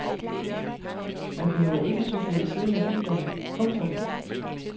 Man behøver ikke cykle ved siden af bilerne. punktum